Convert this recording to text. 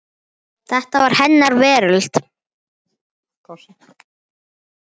Þetta var hennar veröld.